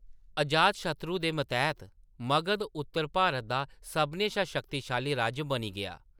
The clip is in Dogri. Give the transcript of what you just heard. अजातशत्रु दे मतैह्‌‌‌त मगध उत्तर भारत दा सभनें शा शक्तिशाली राज्य बनी गेआ।